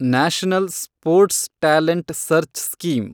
national sports talent search scheme